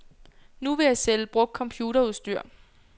Nu vil jeg sælge brugt computerudstyr.